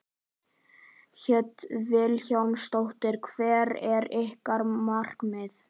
Hödd Vilhjálmsdóttir: Hvert er ykkar markmið?